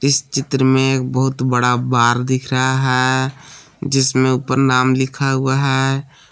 इस चित्र में एक बहुत बड़ा बार दिख रहा है जिसमें ऊपर नाम लिखा हुआ है।